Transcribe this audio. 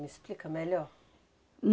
Me explica melhor.